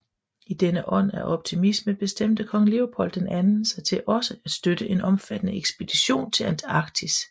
I denne ånd af optimisme bestemte kong Leopold II sig til også at støtte en omfattende ekspedition til Antarktis